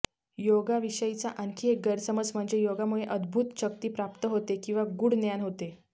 योगाविषयीचा आणखी एक गैरसमज म्हणजे योगामुळे अद्भूत शक्ती प्राप्त होते किंवा गूढ ज्ञान होते